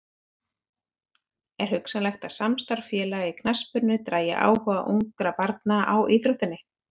Er hugsanlegt að samstarf félaga í knattspyrnu dragi áhuga ungra barna á íþróttinni?